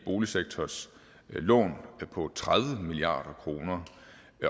boligsektors lån på tredive milliard kr